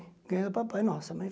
Ganhei do papai, nossa mas.